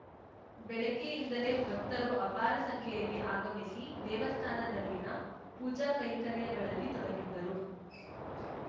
ಬೆಳಿಗ್ಗೆಯಿಂದಲೇ ಭಕ್ತರು ಅಪಾರ ಸಂಖ್ಯೆಯಲ್ಲಿ ಆಗಮಿಸಿ ದೇವಸ್ಥಾನದಲ್ಲಿನ ಪೂಜಾ ಕೈಂಕರ್ಯಗಳಲ್ಲಿ ತೊಡಗಿದ್ದರು